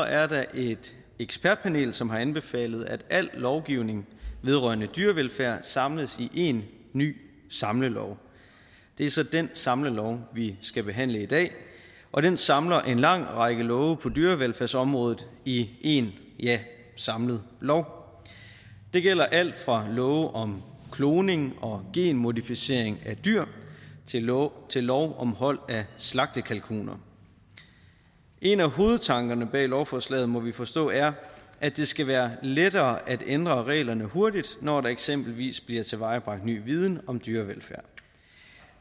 er der et ekspertudvalg som har anbefalet at al lovgivning vedrørende dyrevelfærd samles i én ny samlelov det er så den samlelov vi skal behandle i dag og den samler en lang række love på dyrevelfærdsområdet i én samlet lov det gælder alt fra love om kloning og genmodificering af dyr til lov om hold af slagtekalkuner en af hovedtankerne bag lovforslaget må vi forstå er at det skal være lettere at ændre reglerne hurtigt når der eksempelvis bliver tilvejebragt ny viden om dyrevelfærd